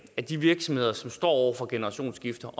at de virksomheder som står over for generationsskifte